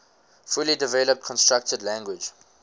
fully developed constructed language